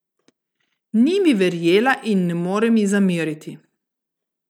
Ni mi verjela in ne morem ji zameriti.